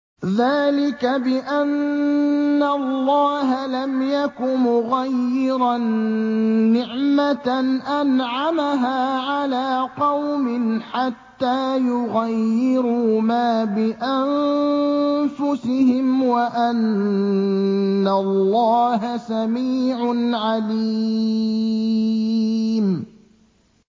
ذَٰلِكَ بِأَنَّ اللَّهَ لَمْ يَكُ مُغَيِّرًا نِّعْمَةً أَنْعَمَهَا عَلَىٰ قَوْمٍ حَتَّىٰ يُغَيِّرُوا مَا بِأَنفُسِهِمْ ۙ وَأَنَّ اللَّهَ سَمِيعٌ عَلِيمٌ